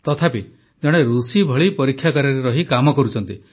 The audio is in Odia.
ତଥାପି ଜଣେ ଋଷି ଭଳି ପରୀକ୍ଷାଗାରରେ ରହି କାମ କରୁଛନ୍ତି